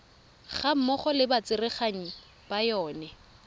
gammogo le batsereganyi ba yona